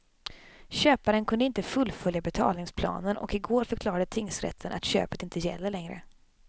Köparen kunde inte fullfölja betalningsplanen och i går förklarade tingsrätten att köpet inte gäller längre.